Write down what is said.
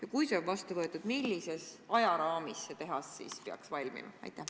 Ja kui see on vastu võetud, siis millises ajaraamis see tehas peaks valmima?